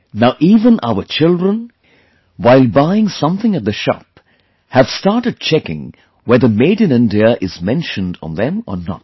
Now even our children, while buying something at the shop, have started checking whether Made in India is mentioned on them or not